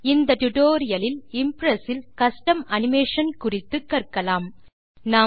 இந்த டியூட்டோரியல் லில் இம்ப்ரெஸ் இல் கஸ்டம் அனிமேஷன் குறித்து கற்கலாம்